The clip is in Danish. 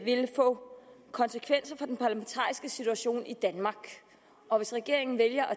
vil få konsekvenser for den parlamentariske situation i danmark og hvis regeringen vælger at